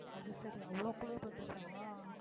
அது சரி அவ்வளவு குளிர் வந்துச்சா